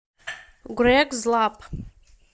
грэг злап